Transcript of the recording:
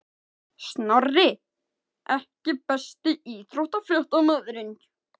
Snorri EKKI besti íþróttafréttamaðurinn?